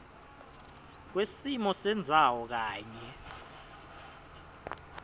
kwesimo sendzawo kanye